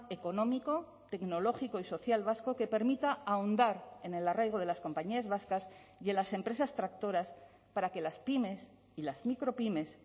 económico tecnológico y social vasco que permita ahondar en el arraigo de las compañías vascas y en las empresas tractoras para que las pymes y las micropymes